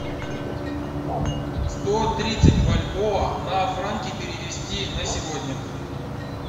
сто тридцать бальбоа на франки перевести на сегодня